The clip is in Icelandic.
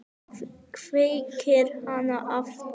Kveikir hana aftur.